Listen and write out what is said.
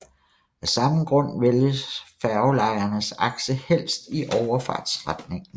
Af samme grund vælges færgelejernes akse helst i overfartsretningen